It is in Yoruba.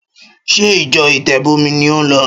Ṣé ìjọ ìtẹ́bọmi ni ò ń lọ?